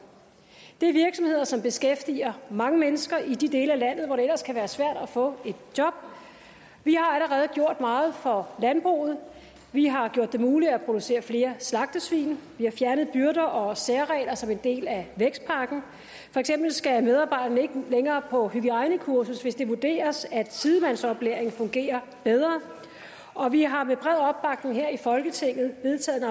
det er virksomheder som beskæftiger mange mennesker i de dele af landet hvor det ellers kan være svært at få et job vi har allerede gjort meget for landbruget vi har gjort det muligt at producere flere slagtesvin vi har fjernet byrder og særregler som en del af vækstpakken for eksempel skal medarbejderne ikke længere på hygiejnekursus hvis det vurderes at sidemandsoplæring fungerer bedre og vi har med bred opbakning her i folketinget vedtaget